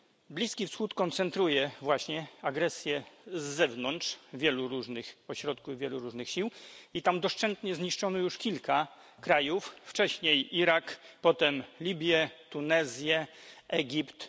Bliski Wschód koncentruje właśnie agresję z zewnątrz wielu różnych ośrodków, wielu różnych sił i tam doszczętnie zniszczono już kilka krajów wcześniej Irak potem Libię, Tunezję, Egipt.